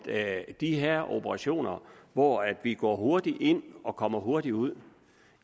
er jo de her operationer hvor vi går hurtigt ind og kommer hurtigt ud